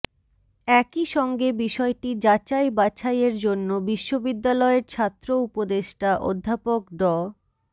একই সঙ্গে বিষয়টি যাচাই বাছাইয়ের জন্য বিশ্ববিদ্যালয়ের ছাত্র উপদেষ্টা অধ্যাপক ড